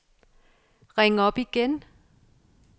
ring op igen